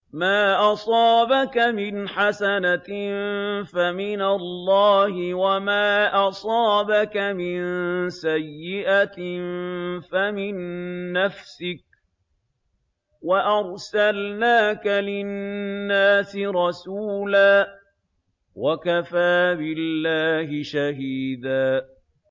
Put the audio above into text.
مَّا أَصَابَكَ مِنْ حَسَنَةٍ فَمِنَ اللَّهِ ۖ وَمَا أَصَابَكَ مِن سَيِّئَةٍ فَمِن نَّفْسِكَ ۚ وَأَرْسَلْنَاكَ لِلنَّاسِ رَسُولًا ۚ وَكَفَىٰ بِاللَّهِ شَهِيدًا